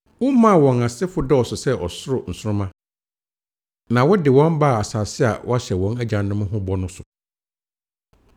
Womaa wɔn asefo dɔɔso sɛ ɔsoro nsoromma, na wode wɔn baa asase a woahyɛ wɔn agyanom ho bɔ no so.